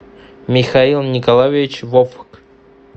михаил николаевич вовк